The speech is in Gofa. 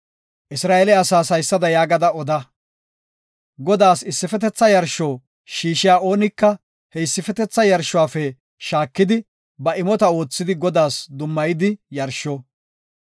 Isra7eele asaas haysada yaagada oda; Godaas issifetetha yarsho shiishiya oonika he issifetetha yarshuwafe shaakidi ba imota oothidi Godaas dummayidi yarsho.